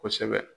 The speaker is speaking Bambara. Kosɛbɛ